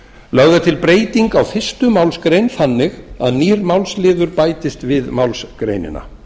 lögð er til breyting á fyrstu málsgreinar þannig að nýr málsliður bætist við málsgreinina